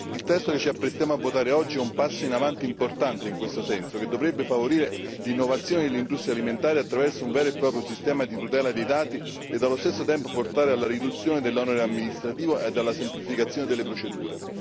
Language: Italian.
Il testo che ci apprestiamo a votare oggi è un passo in avanti importante in questo senso, che dovrebbe favorire l'innovazione dell'industria alimentare attraverso un vero e proprio sistema di tutela dei dati ed allo stesso tempo portare alla riduzione dell'onere amministrativo ed alla semplificazione delle procedure.